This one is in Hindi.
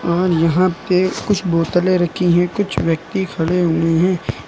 और यहां पे कुछ बोतले रखी है कुछ व्यक्ति खड़े हुए हैं।